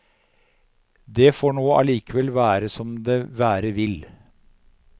Det får nå allikevel være som det være vil.